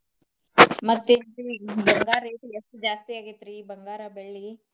ಮತ್ತೆನ್ರೀ ಈಗಿನ ಬಂಗಾರ rate ಎಷ್ಟು ಜಾಸ್ತಿ ಆಗೇತ್ರಿ ಬಂಗಾರ, ಬೆಳ್ಳಿ.